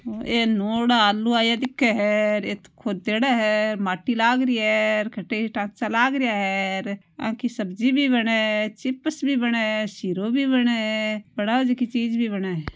ए नुआड़ा आलू आया दिखे है ऐ तो खोदेड़ा है माटी लाग री है कटे ही टांचा लाग रीया है आंकी सब्जी भी बने है चिप्स भी बने है सिरों भी बने है बनावे जकी चीज भी बने है।